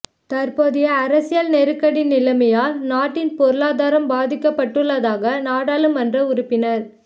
தற்போதைய அரசியல் நெருக்கடி நிலைமையால் நாட்டின் பொருளாதாரம் பாதிக்கப்பட்டுள்ளதாக நாடாளுமன்ற உறுப்பினர